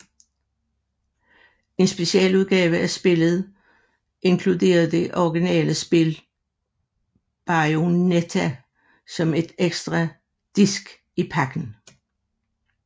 En specialudgave af spillet inkluderede det originale spil Bayonetta som en ekstra disk i pakken